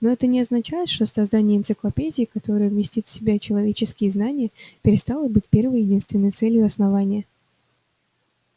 но это не означает что создание энциклопедии которая вместит в себя человеческие знания перестало быть первой и единственной целью основания